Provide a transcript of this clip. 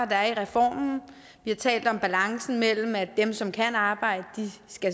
der er i reformen vi har talt om balancen mellem at dem som kan arbejde